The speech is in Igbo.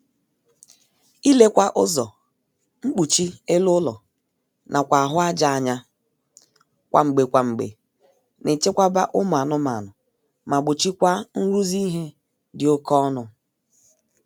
Ilekwa ụzọ, mkpuchi elu ụlọ nakwa ahụ aja anya kwa mgbe kwa mgbe na-echekwaba ụmụ anụmaanụ ma gbochikwaa nrụzi ihe dị oké ọnụ